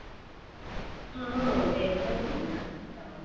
mood ହେଇନଥିଲା ତ ପିନ୍ଧିନଥିଲି ଆଉ